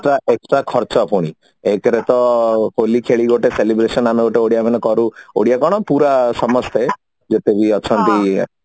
extra ଖର୍ଚ୍ଚ ଫୁଣି ହେଇଥିରେ ତ ହୋଲି ଖେଳି ଗୋଟେ celebration ଆମେ ଗୋଟେ ଓଡିଆ ମାନେ କରୁ ଓଡିଆ କଣ ପୁରା ସମାଜ ପାଇଁ ଯେତେ ବି ଅଛନ୍ତି